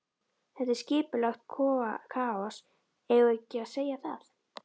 Þetta er skipulagt kaos, eigum við ekki að segja það?